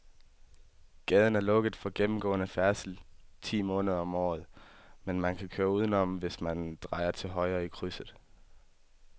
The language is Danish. Gaden er lukket for gennemgående færdsel ti måneder om året, men man kan køre udenom, hvis man drejer til højre i krydset.